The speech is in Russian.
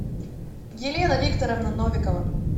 елена викторовна новикова